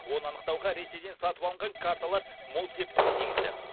оны анықтауға ресейден сатып алынған карталар мол септігін тигізді